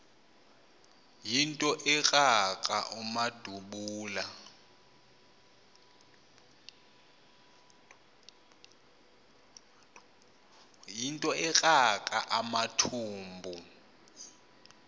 yinto ekrakra amathumbu